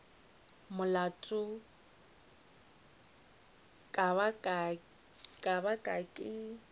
molato e ka ba ke